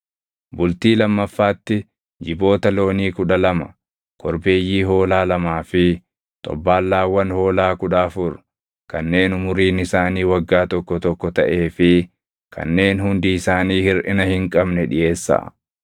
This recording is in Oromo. “ ‘Bultii lammaffaatti jiboota loonii kudha lama, korbeeyyii hoolaa lamaa fi xobbaallaawwan hoolaa kudha afur kanneen umuriin isaanii waggaa tokko tokko taʼee fi kanneen hundi isaanii hirʼina hin qabne dhiʼeessaa.